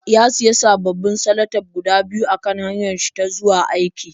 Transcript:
Ya sayi sababbin salatif guda biyu a kan hanyarsa ta zuwa aiki.